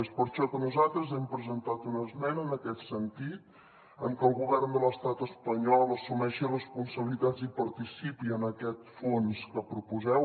és per això que nosaltres hem presentat una esmena en aquest sentit en que el govern de l’estat espanyol assumeixi responsabilitats i participi en aquest fons que proposeu